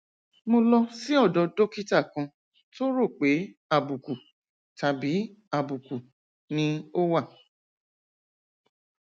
mo lọ sí ọdọ dókítà kan tó rò pé àbùkù tàbí àbùkù ni ó wà